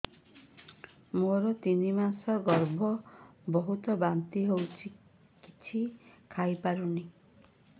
ମୋର ତିନି ମାସ ଗର୍ଭ ବହୁତ ବାନ୍ତି ହେଉଛି କିଛି ଖାଇ ପାରୁନି